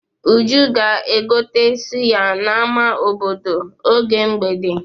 Uju ga-egote sụya n'ama obodo n'oge mgbede.